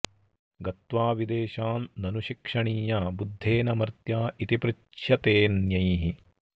गत्वा विदेशान् ननु शिक्षणीया बुद्धेन मर्त्या इति पृच्छ्यतेऽन्यैः